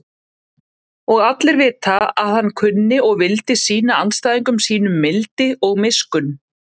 Og allir vita að hann kunni og vildi sýna andstæðingum sínum mildi og miskunn.